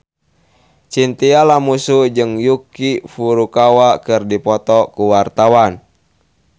Chintya Lamusu jeung Yuki Furukawa keur dipoto ku wartawan